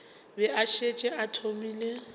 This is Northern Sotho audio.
be a šetše a thomile